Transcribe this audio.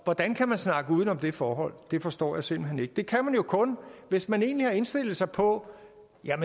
hvordan kan man snakke uden om det forhold det forstår jeg simpelt hen ikke det kan man jo kun hvis man egentlig har indstillet sig på